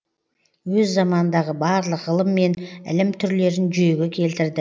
өз заманындағы барлық ғылым мен ілім түрлерін жүйеге келтірді